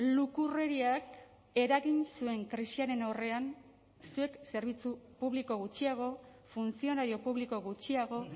lukurreriak eragin zuen krisiaren aurrean zuek zerbitzu publiko gutxiago funtzionario publiko gutxiago